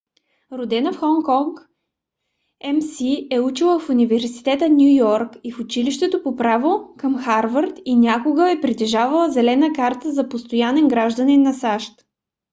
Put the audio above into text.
родена в хонг конг мс е учила в университета в ню йорк и в училището по право към харвард и някога е притежавала зелена карта за постоянен гражданин на сащ